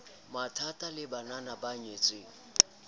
matha le banna ba nyetseng